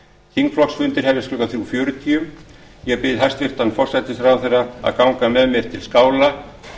þingflokksfundir hefjast klukkan þrjú fjörutíu ég bið hæstvirtan forsætisráðherra að ganga með mér til skála